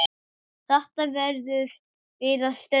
Þetta verðum við að stöðva.